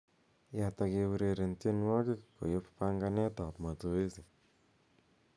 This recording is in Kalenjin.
yaat ak eureren tienwogik koyop panganet ab mazoezi